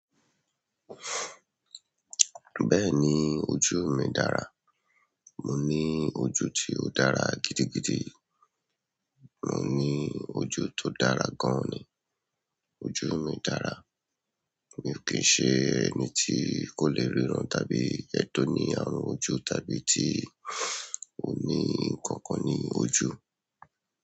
Bẹ́ẹ̀ni ojú mi dára, mo ní ojú tí ó dára gidigidi, mo ní ojú tó dára gan ni, ojú mi dára, mi ò kí ń ṣe ẹni tí kò le ríran tàbí ẹni tó ní ààrùn ojú tàbí tí ò ní nǹkan kan ní ojú.